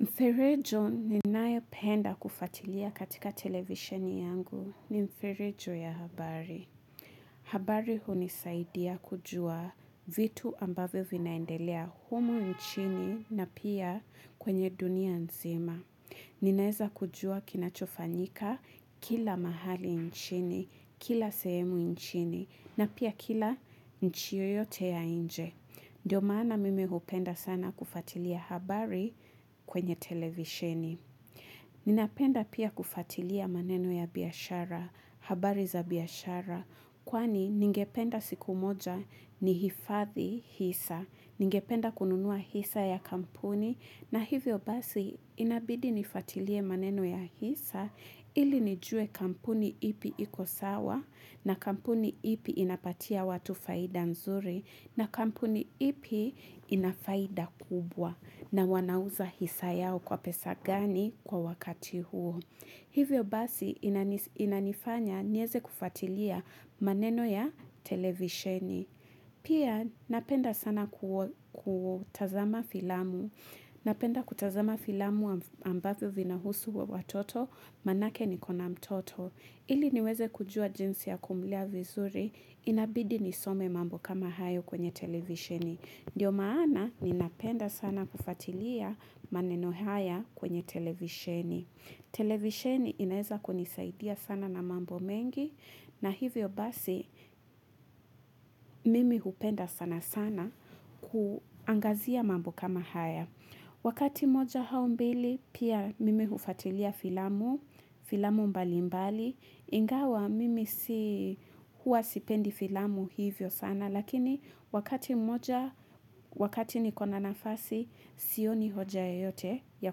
Mfirejo ninae penda kufatilia katika televisioni yangu ni mfirejo ya habari. Habari huni saidia kujua vitu ambavo vinaendelea humo nchini na pia kwenye dunia nzima. Ninaeza kujua kinachofanyika kila mahali nchini, kila sehemu nchini na pia kila nchi yoyote ya inje. Ndiyo maana mimi hupenda sana kufatilia habari kwenye televisheni. Ninapenda pia kufatilia maneno ya biyashara, habari za biyashara, kwani ningependa siku moja ni hifathi hisa, ningependa kununua hisa ya kampuni, na hivyo basi inabidi nifuatilie maneno ya hisa ili nijue kampuni ipi ikosawa na kampuni ipi inapatia watu faida nzuri na kampuni ipi inafaida kubwa na wanauza hisa yao kwa pesa gani kwa wakati huo. Hivyo basi inanifanya nieze kufatilia maneno ya televisheni. Pia napenda sana kutazama filamu. Napenda kutazama filamu ambavyo vina husu wa watoto manake nikona mtoto. Ili niweze kujua jinsi ya kumulea vizuri inabidi nisome mambo kama hayo kwenye televisheni. Ndiyo maana ninapenda sana kufatilia maneno haya kwenye televisheni. Televisheni inaeza kunisaidia sana na mambo mengi na hivyo basi mimi hupenda sana sana kuangazia mambo kama haya. Wakati moja haumbili pia mimi hufatilia filamu, filamu mbali mbali. Ingawa mimi si hua sipendi filamu hivyo sana lakini wakati moja wakati nikona nafasi sioni hoja yeyote ya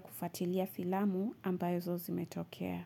kufatilia filamu ambayo zozimetokea.